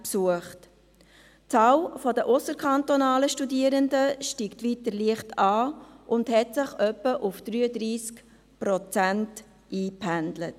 Die Zahl der ausserkantonalen Studierenden steigt weiter leicht an und hat sich auf etwa 33 Prozent eingependelt.